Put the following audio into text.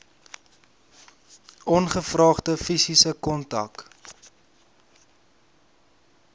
ongevraagde fisiese kontak